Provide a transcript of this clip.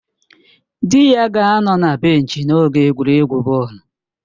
Di ya ga-anọ na benchi n'oge egwuregwu bọọlụ